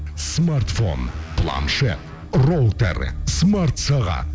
смартфон планшет роутер смартсағат